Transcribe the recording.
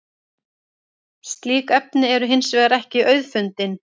slík efni eru hins vegar ekki auðfundin